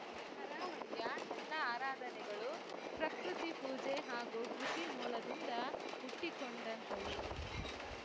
ಕರಾವಳಿಯ ಎಲ್ಲಾ ಆರಾಧನೆಗಳು ಪ್ರಕೃತಿ ಪೂಜೆ ಹಾಗೂ ಕೃಷಿ ಮೂಲದಿಂದ ಹುಟ್ಟಿಕೊಂಡಂಥವು